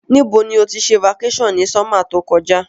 Ní bo ni o ti se vacation ni summer to kojá